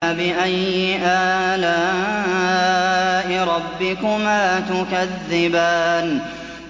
فَبِأَيِّ آلَاءِ رَبِّكُمَا تُكَذِّبَانِ